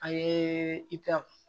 An ye itariw